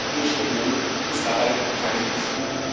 Die Europäische Union ist dabei keine Hilfe.